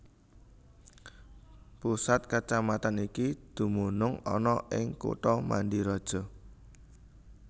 Pusat kacamatan iki dumunung ana ing kutha Mandiraja